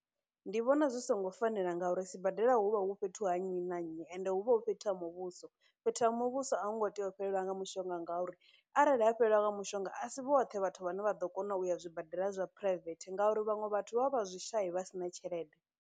Ndi vhona zwi songo fanela ngauri sibadela hu vha hu fhethu ha nnyi na nnyi ende hu vha hu fhethu ha muvhuso, fhethu ha muvhuso a hu ngo tea u fhelelwa nga mushonga ngauri arali ha fhelelwa nga mushonga asi vhoṱhe vhathu vhane vha ḓo kona uya zwibadela zwa private ngauri, vhaṅwe vhathu vha vha vha zwishai vha si na tshelede.